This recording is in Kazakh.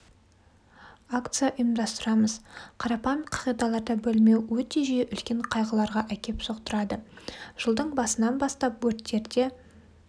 акция ұйымдастырамыз қарапайым қағидаларды білмеу өте жиі үлкен қайғыларға әкеп соқтырады жылдың басынан бастап өрттерде